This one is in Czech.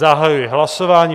Zahajuji hlasování.